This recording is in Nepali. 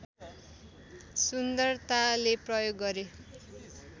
सुन्दरताले प्रयोग गरे